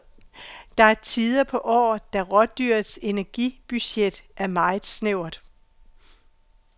Der er tider på året, da rådyrets energibudget er meget snævert.